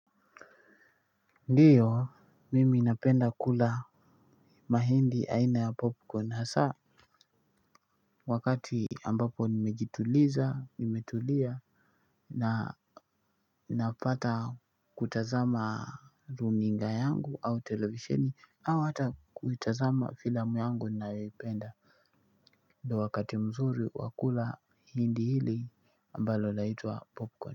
Ndio napenda kula mahindi aina ya popcorn hasa wakati ambapo nimejituliza, nimetulia na napata kutazama runinga yangu au televisheni au hata kuitazama filamu yangu ninayoipenda ndio wakati mzuri wa kula hindi hili ambalo laitwa popcorn.